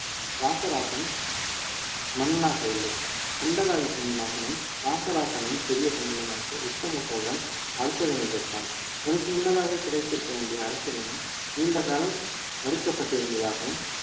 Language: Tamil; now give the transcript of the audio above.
ராசராசன் மன்னனாகவில்லை கண்டராதித்தனின் மகனும் ராசராசனின் சிறிய தந்தையுமாகிய உத்தம சோழன் அரசுரிமை பெற்றான் இவனுக்கு முன்னதாகவே கிடைத்திருக்க வேண்டிய அரசுரிமை நீண்ட காலம் மறுக்கப்பட்டிருந்ததாகவும்